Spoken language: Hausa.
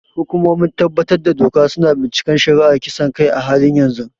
Hukumomin tabbatar da doka su na binciken shari'ar kisan kai a halin yanzu.